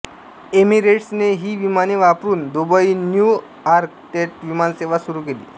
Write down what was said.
एमिरेट्सने ही विमाने वापरून दुबईन्यू यॉर्क थेट विमानसेवा सुरू केली